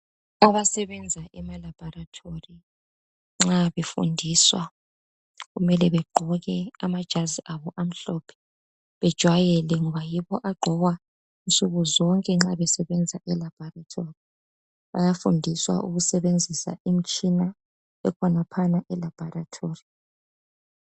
Abasebenza ema labhorethari nxa befundiswa kumele begqoke amajazi abo amhlophe, bejwayele ngoba yiwo agqokwa nsuku zonke nxa besebenza elabhorethori bayafundiswa ukusebenzisa imitshina ekhonaphana elabhorethori.